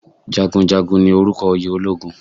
Jagunjagun ni orúkọ oyè ológun